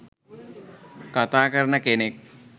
කථා කරන කෙනෙක්.